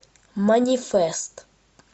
манифест